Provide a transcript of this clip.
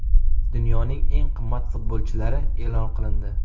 Dunyoning eng qimmat futbolchilari e’lon qilindi.